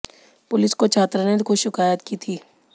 police को छात्रा ने खुद शिकायत की थी